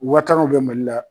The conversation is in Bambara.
Wataraw bɛ Mali la.